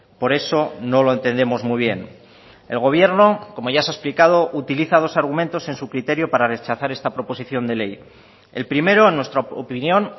por eso no lo entendemos muy bien el gobierno como ya se ha explicado utiliza dos argumentos en su criterio para rechazar esta proposición de ley el primero en nuestra opinión